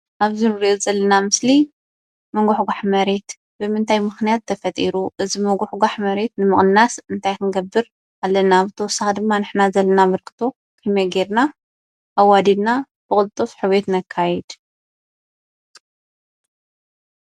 ኣብዚ ንሪኦ ዘለና ምስሊ ምጉሕጓሕ መሬት ብምንታይ ምኽንያት ተፈጢሩ? እዚ ምጉሕጓሕ መሬት ንምቕናስ እንታይ ክንገብር ኣለና? ብተወሳኺ ድማ ንሕና ዘለና ኣበርክቶ ከመይ ጌርና ኣዋዲድና ብቕልጡፍ ሕውየት ነካይድ?